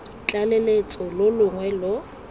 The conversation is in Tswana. tlaleletso lo lo longwe lo